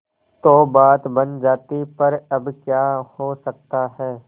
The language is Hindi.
तो बात बन जाती पर अब क्या हो सकता है